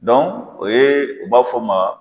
Dɔnku, o ye u b'a fɔ ma.